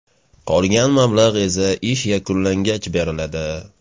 Qolgan mablag‘ esa ish yakunlangach beriladi.